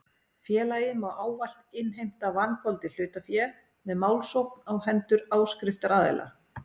Félagið má ávallt innheimta vangoldið hlutafé með málsókn á hendur áskriftaraðila.